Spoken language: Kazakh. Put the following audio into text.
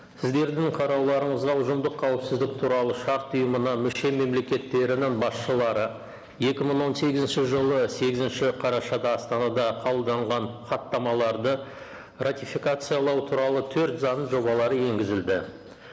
сіздердің қарауларыңызға ұжымдық қауіпсіздік туралы шарт ұйымына мүше мемлекеттерінің басшылары екі мың он сегізінші жылы сегізінші қарашада астанада қабылданған хаттамаларды ратификациялау туралы төрт заң жобалары енгізілді